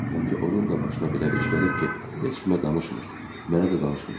Bəlkə onun da başına belə bir iş gəlib ki, heç kimə danışmır, mənə də danışmır.